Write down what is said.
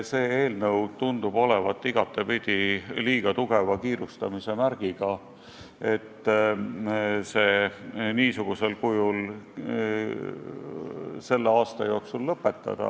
See eelnõu niisugusel kujul tundub olevat igatepidi liiga tugeva kiirustamise märgiga, et selle menetlemine selle aasta jooksul lõpetada.